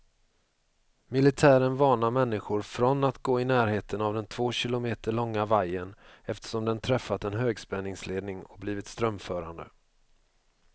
Militären varnar människor från att gå i närheten av den två kilometer långa vajern, eftersom den träffat en högspänningsledning och blivit strömförande.